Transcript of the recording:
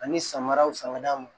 Ani samaraw san ka d'a ma